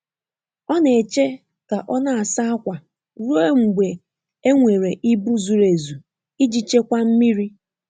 Ọ na-eche ka ọ na-asa ákwà ruo mgbe e nwere ibu zuru ezu iji chekwaa mmiri.